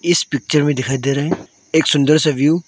इस पिक्चर में दिखाई दे रहा है एक सुंदर सा व्यू ।